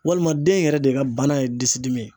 Walima den yɛrɛ de ka bana ye disi dimi ye.